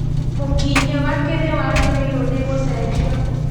Mũkinyĩ wake nĩ wagĩrĩirwo nĩ gũcenjio